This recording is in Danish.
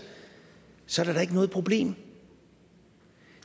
så er det da ikke noget problem